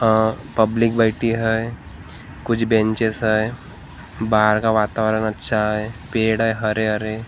आह public बैठी हैं कुछ बेंचएस हैं बाहर का वातावरण अच्छा है पेड़ है हरे-हरे--